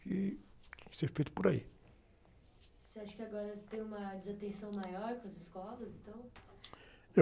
que tem que ser feito por aí.ocê acha que agora se tem uma desatenção maior com as escolas, então?u...